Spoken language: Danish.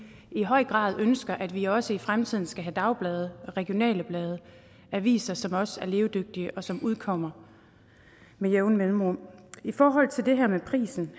i høj grad ønsker at vi også i fremtiden skal have dagblade og regionale blade aviser som også er levedygtige og som udkommer med jævne mellemrum i forhold til det her med prisen